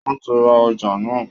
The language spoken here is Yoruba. Wọ́n ti rà ọjà náà